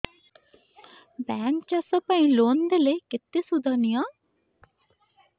bank ଚାଷ ପାଇଁ loan ଦେଲେ କେତେ ସୁଧ ନିଏ